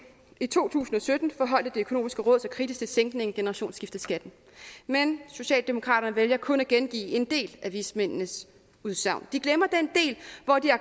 i to tusind og sytten forholdt det økonomiske råd sig kritisk til sænkningen af generationsskifteskatten men socialdemokraterne vælger kun at gengive en del af vismændenes udsagn de glemmer